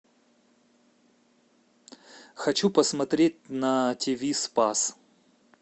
хочу посмотреть на тв спас